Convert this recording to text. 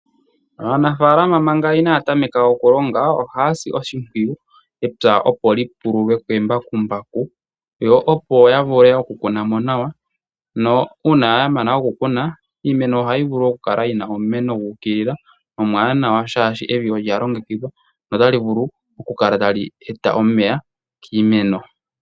Aanafalama manka inaya tameka okulonga ohasi oshipwiyu epya opoli pululwe kembakumambaku yo opo yavule okukuna mo nawa , no uuna yamana okukuna iimeno ohayi vulu okukala yina omeno gukilila omwanawa shashi evi olya longekidhwa otali vulu okukala tali eta omeya kiimeno.